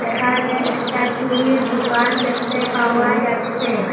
এখানে একটা চুরির দুকান দেখতে পাওয়া যাচ্ছে।